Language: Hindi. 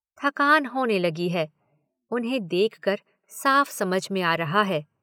थकान होने लगी है, उन्हें देखकर साफ़ समझ में आ रहा है।